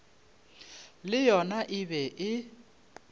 le yona e be e